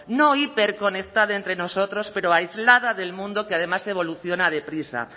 no hiperconectada entre nosotras pero aislada del mundo que además evoluciona deprisa